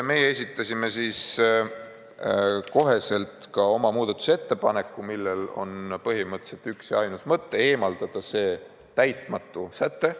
Meie esitasime siis kohe oma muudatusettepaneku, millel on põhimõtteliselt üks ja ainus mõte: eemaldada see täitmatu säte.